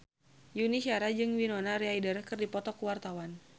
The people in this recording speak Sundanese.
Yuni Shara jeung Winona Ryder keur dipoto ku wartawan